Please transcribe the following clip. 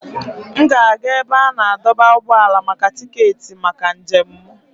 M ga-aga ebe a na-adọba ụgbọala maka tiketi maka njem m.